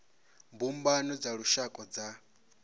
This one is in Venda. mbumbano dza lushaka na dza